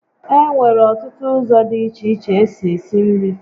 E nwere ọtụtụ ụzọ dị iche iche esi esi nri